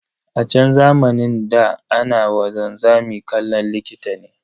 A chan zamanin ɗa, ana wa wanzami kallon likita ne.